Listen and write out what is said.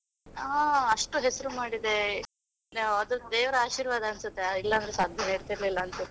ಆ ಅಷ್ಟು ಹೆಸರು ಮಾಡಿದೆ, ಅದು ದೇವರ ಆಶೀರ್ವಾದ ಅನ್ಸುತ್ತೆ ಇಲ್ಲ ಅಂದ್ರೆ ಸಾಧ್ಯವೇ ಇರ್ತಿರ್ಲಿಲ್ಲ ಅನ್ಸುತ್ತೆ.